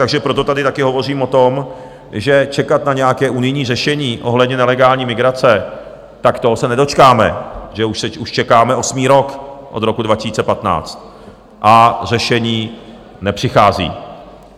Takže proto tady taky hovořím o tom, že čekat na nějaké unijní řešení ohledně nelegální migrace, tak toho se nedočkáme, že už čekáme osmý rok od roku 2015 a řešení nepřichází.